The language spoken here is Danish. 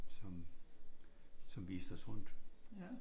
Som som viste os rundt